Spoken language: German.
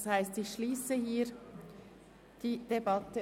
Das heisst, dass ich die Debatte hier schliesse.